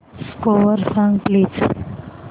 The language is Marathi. स्कोअर सांग प्लीज